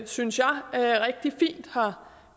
synes jeg rigtig fint har